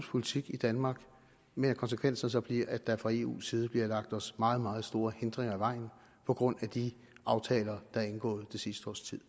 politik i danmark men at konsekvensen så bliver at der fra eu’s side bliver lagt os meget meget store hindringer i vejen på grund af de aftaler der er indgået i det sidste års tid